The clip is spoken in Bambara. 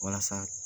Walasa